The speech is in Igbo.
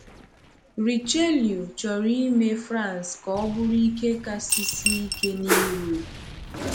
Richelieu chọrọ ime France ka ọ bụrụ ike kasị sie ike n’Europe.